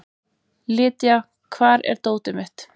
Lydia, hvar er dótið mitt?